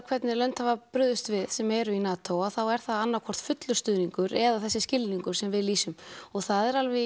hvernig lönd hafa brugðist við sem eru í NATO þá er það annað hvort fullur stuðningur eða þessi skilningur sem við lýsum og það er alveg